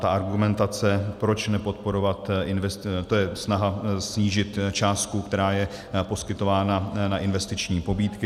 Ta argumentace, proč nepodporovat, to je snaha snížit částku, která je poskytována na investiční pobídky.